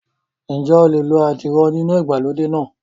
Ǹjẹ́ o lè lo àdìrò oníná ìgbàlódé náà?